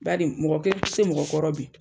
Bari mɔgɔ kelen ti se mɔgɔ kɔrɔ bi.